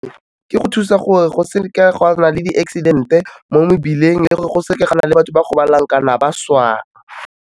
Ke go thusa gore go seke go a nna le di-accident-e mo mebileng le gore go seke ga nna le batho ba gobalang ka na ba swang.